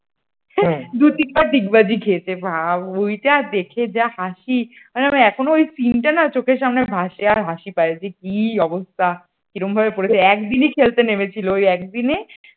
দু তিনবার ডিগবাজি খেয়েছে ভাব ওইটা দেখে যা হাসি আমি ভাবলাম এখনও ওই scene টা না চোখের সামনে ভাসে আর হাসি পাই যে কি অবস্থা কিরম ভাবে পড়েছে একদিনই খেলতে নেমেছিল ওই একদিনে